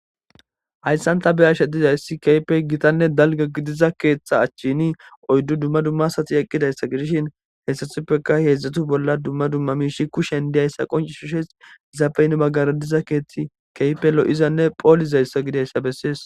hayssan ta beyashe dizayssi keypey gitanne dalga gidiza keetxa achchini oyddu dumma dummasati eqqidayssa gidishin heessathuppeka heedzdzatu bolla dumma dumma miishi kushen diyayssa qonci hu she zapeyn maggaradiza keethti keype lo7izanne poolizayssa gidayssa bessies